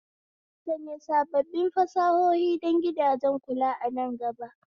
Sanya sabbin fasahohi don gidajen kulawa a nan gaba